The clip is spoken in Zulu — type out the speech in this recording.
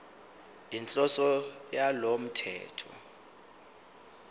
inhloso yalo mthetho